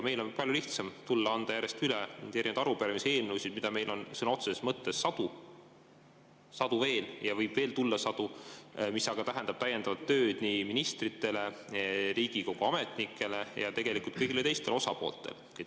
Meil on palju lihtsam tulla ja anda järjest üle erinevaid arupärimisi ja eelnõusid, mida meil on sõna otseses mõttes veel sadu ja võib veel tulla sadu, mis aga tähendab täiendavat tööd nii ministritele, Riigikogu ametnikele kui ka kõigile teistele osapooltele.